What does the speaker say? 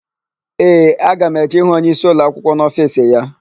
Ee, aga m eje ịhụ onyeisi ụlọakwụkwọ n'ofiisi ya.